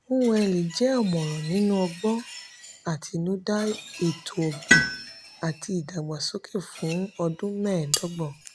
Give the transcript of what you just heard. nwuneli jẹ ọmọran nínú ọgbọn atinuda ètò ọgbin àti ìdàgbàsókè fún ọdún mẹẹdọgbọn.